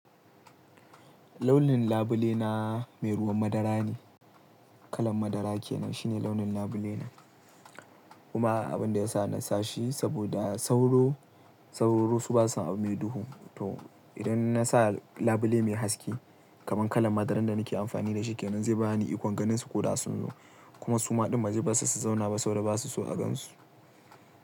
Launin labule na mai ruwan madara ne. Kalan madara kenan shine launin labule na. Kuma abin da ya sa na sa shi saboda sauro, sauro su ba su abu mai duhu. To idan na sa labule mai haske kamar kalan madaran da nake amfani da shi kenan, zai ba ni ikon ganin su ko da sun zo. Kuma suma ɗin ba za su zauna ba saboda ba su so a gan su.